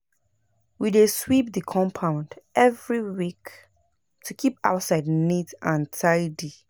We dey sweep the compound every week to keep outside neat and tidy.